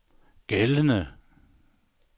gældende